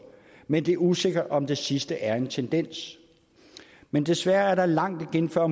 men det er usikkert om det sidste er en tendens men desværre er der langt igen før